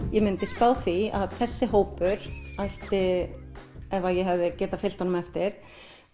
ég myndi spá því að þessi hópur ætti ef að eg hefði geta fylgt honum eftir